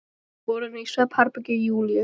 Þær voru inni í svefnherbergi Júlíu.